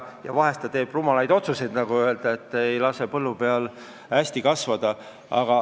Ja vahel ta teeb rumalaid otsuseid ega lase millelgi põllu peal hästi kasvada.